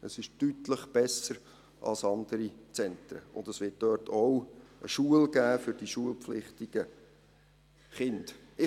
Es ist deutlich besser als andere Zentren, und es wird dort auch eine Schule für die schulpflichtigen Kinder geben.